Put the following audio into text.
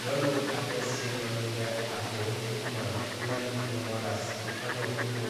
nyɔnu aɖe si nɔ anyi ɖe avɔwo ŋkume lé nuƒomɔ ɖe asi henɔ nu kom.